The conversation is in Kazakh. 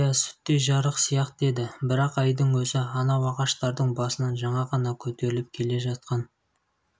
иә сүттей жарық сияқты еді бірақ айдың өзі анау ағаштардың басынан жаңа ғана көтеріліп келе жатқан